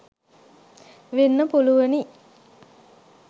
වෙන්න පුළුවනි.